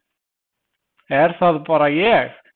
Er það bara ég.